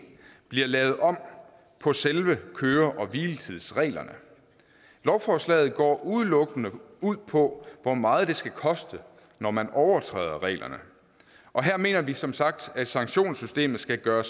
bliver lavet om på selve køre hvile tids reglerne lovforslaget går udelukkende ud på hvor meget det skal koste når man overtræder reglerne og her mener vi som sagt at sanktionssystemet skal gøre